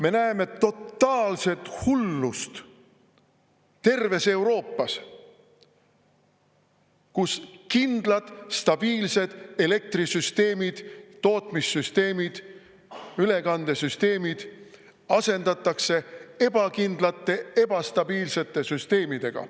Me näeme totaalset hullust terves Euroopas, kus kindlad, stabiilsed elektrisüsteemid, tootmissüsteemid, ülekandesüsteemid asendatakse ebakindlate, ebastabiilsete süsteemidega.